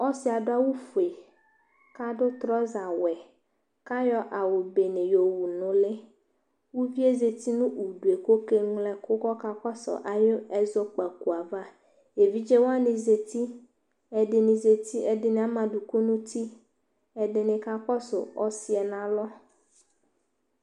ɔsi adʋ awʋƒʋe kadʋ trɔsa wɛ kayɔ awʋ Benee yɔwʋ nʋli ʋviezati nudʋe kɔke wlo ɛkʋ kɔka kɔsʋ ayʋ ɛzɔkpako ava evidze wani zati ɛdɛni zati ɛdini amadʋkɔ nʋti ɛdini kakɔsʋ ɔsiɛnalɔ